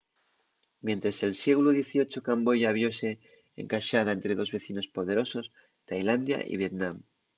mientres el sieglu xviii camboya viose encaxada ente dos vecinos poderosos tailandia y vietnam